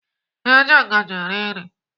Eji ngaji eri nri.